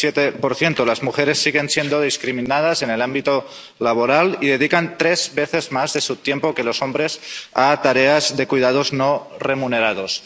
37 Las mujeres siguen siendo discriminadas en el ámbito laboral y dedican tres veces más de su tiempo que los hombres a tareas de cuidados no remunerados.